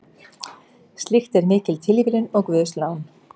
Slíkt er mikil tilviljun og guðslán.